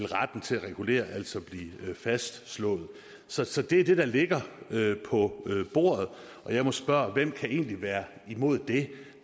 retten til at regulere fastslået så så det er det der ligger på bordet og jeg må spørge hvem kan egentlig være imod det